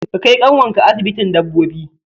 Ka kai ƙyanwarka asibitin dabbobi!